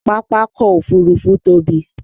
Pápákọ̀ Òfurufú tóbi